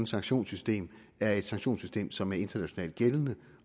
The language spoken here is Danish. sanktionssystem er et sanktionssystem som er internationalt gældende